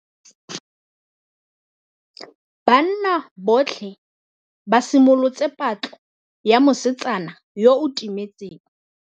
Banna botlhê ba simolotse patlô ya mosetsana yo o timetseng.